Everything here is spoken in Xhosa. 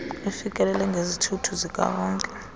ifikeleleke ngezithuthi zikawonke